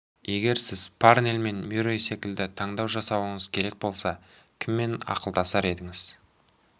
егер сіз парнель мен мюррей секілді таңдау жасауыңыз керек болса кіммен ақылдасар едіңіз